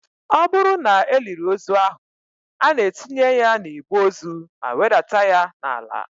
Ọ bụrụ na e liri ozu ahụ, a na-etinye ya na igbe ozu ma wedata ya n'ala